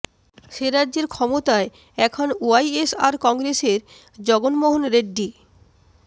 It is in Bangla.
সে রাজ্যের ক্ষমতায় এখন ওয়াইএসআর কংগ্রেসের জগন্মোহন রেড্ডি